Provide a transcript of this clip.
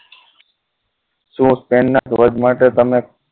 શું તેમના ધ્વજ માટે તમે